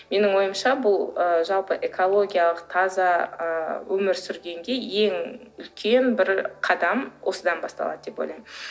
менің ойымша бұл ы жалпы экологиялық таза ы өмір сүргенге ең үлкен бір қадам осыдан басталады деп ойлаймын